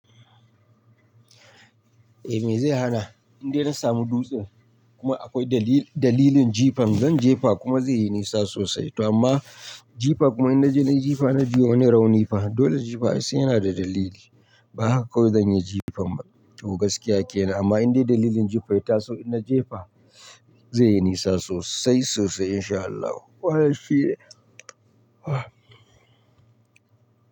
Eh me zai hana, in dai na samu dutsen kuma akwai dalilin jifan, zan jefa kuma zai yi nisa sosai. To amma jifa kuma in na je na yi jifa na ji wa wani rauni fa dole jifa sai yana da dalili. Ba haka kawai zan yi jifan ba. To gaskiya kenan amma in dai dalilin jifan ya taso in na jefa zai yi nisa sosai sosai in sha Allahu. Wannan shi ne.